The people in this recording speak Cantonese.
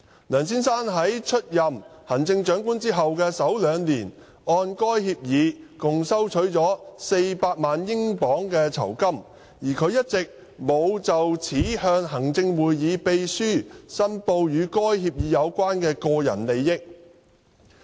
梁先生在出任行政長官後的首兩年按該協議共收取了400萬英鎊酬金，但他一直沒有就此向行政會議秘書申報與該協議有關的個人利益。